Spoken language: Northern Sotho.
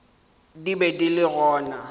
di be di le gona